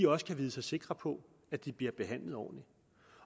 også kan vide sig sikre på at de bliver behandlet ordentligt